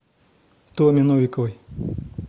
томе новиковой